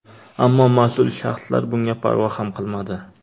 Ammo mas’ul shaxslar bunga parvo ham qilmadi.